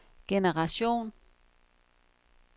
generation